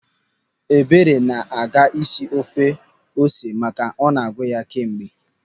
Ebere na-aga isi ofe ose maka na ọ na-agụ ya kemgbe.